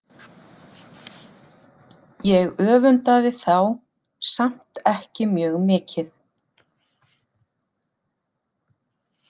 Ég öfundaði þá samt ekki mjög mikið.